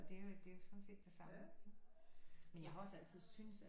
Det er jo sådan set det samme men jeg har også altid syntes at